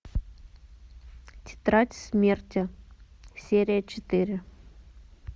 тетрадь смерти серия четыре